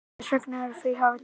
Hvers vegna eru fríhafnir til?